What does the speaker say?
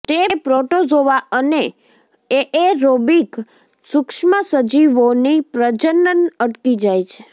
તે પ્રોટોઝોઆ અને એએરોબિક સુક્ષ્મસજીવોની પ્રજનન અટકી જાય છે